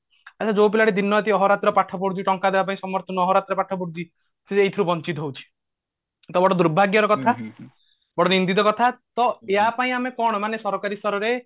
ମାନେ ଯୋଉ ପିଲାଟି ଦିନରାତି ଅହରାତ୍ର ପାଠ ପଢୁଛି ଟଙ୍କା ଦବା ପାଇଁ ସମର୍ଥ ନୁହଁ ଅହରାତ୍ର ପାଠ ପଡୁଛି ସିଏ ଏଇଥିରୁ ବଞ୍ଚିତ ହଉଛି ତ ଗୋଟେ ଦୁର୍ଭାଗ୍ଯର କଥା ଗୋଟେ ନିନ୍ଦିତ କଥା ତ ଏହା ପାଇଁ ଆମେ କଣ ମାନେ ସରକାରୀ ସ୍ତରରେ